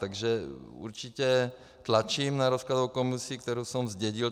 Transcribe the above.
Takže určitě tlačím na rozkladovou komisi, kterou jsem zdědil.